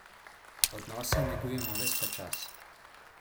Odnose negujmo ves ta čas.